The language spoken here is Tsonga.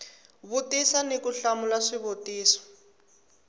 vutisa ni ku hlamula swivutiso